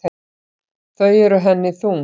Þau eru henni þung.